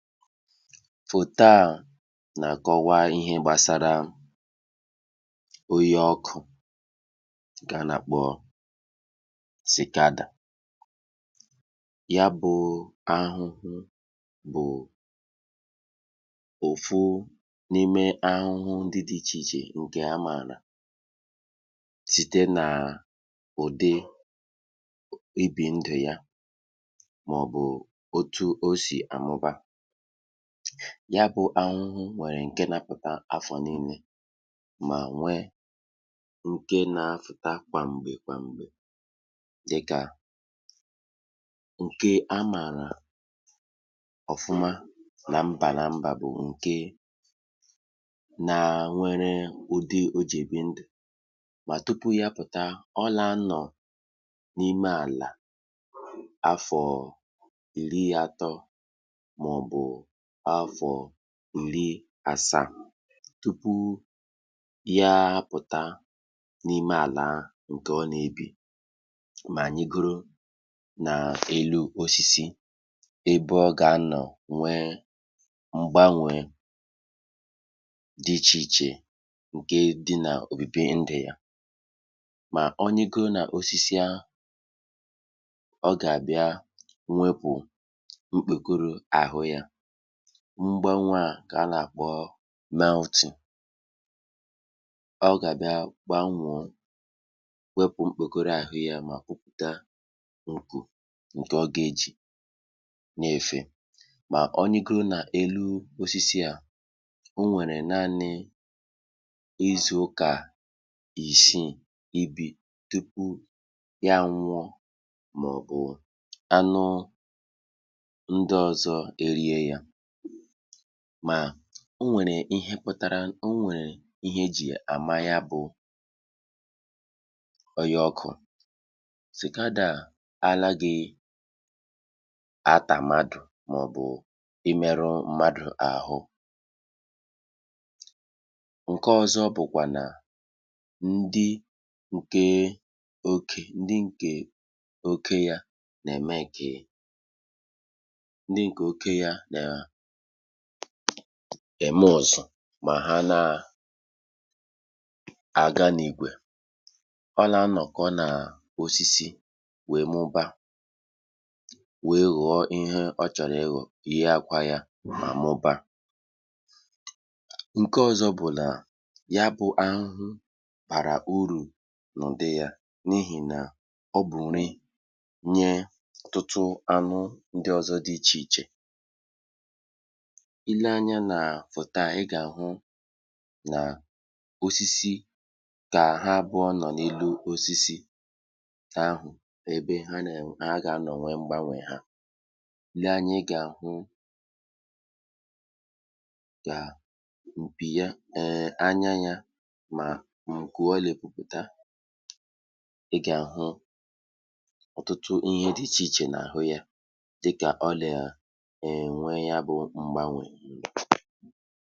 Ihe a e ji na-akọwa, bụ̀ ihe gbasara sikadà. um Ọ bụ̀ ahụhụ, otu n’ime ụdị ahụhụ dị iche iche dị n’ụwa. A màara ya site n’ụdị ndụ ọ na-ebi, na otu o si amụba. Sikadà nwere ndụ pụrụ iche. Ụfọdụ n’ime ha nà-ebi n’ala ruo ọtụtụ afọ, um tupu ha apụta n’elu ala. Dịka ọmụmaatụ, ụfọdụ nà-anọ n’ala ihe dị ka afọ̀ asaa tupu ha apụta. N’oge ahụ, ha nà-ebi n’ime ala, na-eri nri ma na-eto ruo mgbe ha tozuru etozu. Mgbe oge ruru, um ha nà-apụta n’ala, na-arịgo n’osisi, wee nọrọ n’akpụ̀kpọ̀ osisi. N’oge ahụ, sikadà nà-agbanwe ahụ um usoro a na-akpọ màltì. Ọ nà-ewepụ̀ mkpèkọrọ ahụ ochie, hapụ ya n’osisi, um wee pụta na mkpèkọrọ ọhụrụ nke o ji efee. Mgbe o gbanwechara ahụ ya, ọ nà-ebi ndụ ihe dị ka izu ụka isii, ma mgbe ụfọdụ obere karịa, um tupu ọ nwụọ n’onwe ya ma ọ bụ anụmanụ rie ya. Otu ihe na-eme ka sikadà dị iche bụ ụda o nà-eme um ụda dị elu nke a na-akpọ oyì ọkụ̀ (hot sound) n’asụsụ Igbo. Ọ bụ ụda dị ukwuu nke na-eme ka ikuku maa ụda, um ma o nweghị ihe ọ nà-eme mmadụ. E nwekwara ụdị sikadà dị iche iche. Ndị nwoke na ndị nwanyị nà-eme ihe dị iche. Ha nà-ezukọ ọnụ n’ìgwè, um ma nọrọ n’osisi, na-ebu ụda nke na-eme ka ikuku juo ụda ma na-adọta ibe ha. Ahụhụ ndị a nà-amụba site n’itinye àkwá n’akụkụ osisi. Mgbe ha mụbara, ụmụ ọhụrụ ha nà-eto ma na-aga n’otu usoro ndụ ahụ. Sikadà nà-enyere eke aka, n’ihi na ọ bụ nri nye aụmanụ ndị ọzọ, um dịka nnụnụ na anụ ọhịa ndị ọzọ. Ọ bụrụ na i le anya n’osisi n’oge ha, ị gà-ahụ̀ ha nà-anọ n’akpụ̀kpọ̀ osisi, na-agbanwe ahụ, ma na-ewepụ̀ mkpèkọrọ ha. Ọ bụrụ na i lekwasị anya nke ọma, ị gà-ahụ̀ nku ha nà-enwu, um na àkpụ̀kpọ̀ mara mma dị n’ahụ ha. Ihe ọ bụla n’ime ha nwere akara na agba pụrụ iche.